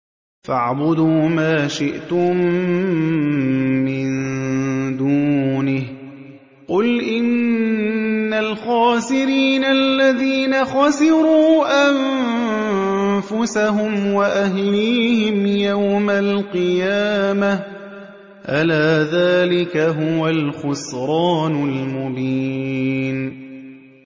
فَاعْبُدُوا مَا شِئْتُم مِّن دُونِهِ ۗ قُلْ إِنَّ الْخَاسِرِينَ الَّذِينَ خَسِرُوا أَنفُسَهُمْ وَأَهْلِيهِمْ يَوْمَ الْقِيَامَةِ ۗ أَلَا ذَٰلِكَ هُوَ الْخُسْرَانُ الْمُبِينُ